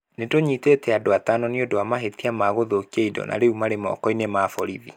Nĩtũnyitĩte andũ atano nĩ ũndũ wa mahĩtia ma gũthũkia indo na rĩu marĩ moko-inĩ ma borithi.